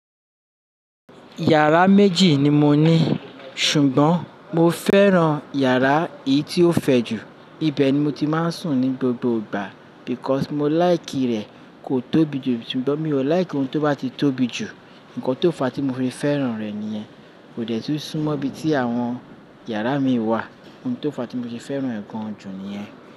Yàrá méjì ni mo ní, ṣùgbọ́n mo fẹ́ran yàrá èyí tí ó fẹ̀ jù. Ibẹ̀ ni mo ti máa ń sùn ní gbogbo ìgbà because mo like rẹ̀ kò tóbi jù. Ṣùgbọ́n mi ò like ohun tó bá ti tóbi jù. Ǹkan tó fa a tí mo fi fẹ́ràn rẹ̀ nìyẹn. Kò dẹ́ tún súnmọ́ ibi tí àwọn yàrá mii wà. Ohun tó fa tí mo se fẹ́ràn ẹ̀ gan jú niyẹ́n.